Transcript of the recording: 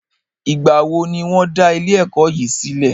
Ìgbà wo ní wọ́n dá ilé ẹ̀kọ́ yìí sílẹ̀?